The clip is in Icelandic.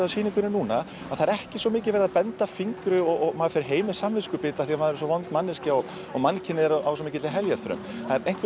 á sýningunni núna að það er ekki svo mikið verið að benda fingri og maður fer heim með samviskubit af því að maður er svo vond manneskja og mannkynið á svo mikilli heljarþröm það er